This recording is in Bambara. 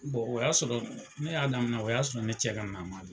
o y'a sɔrɔ ne y'a daminɛ o y'a sɔrɔ ne cɛganalama don.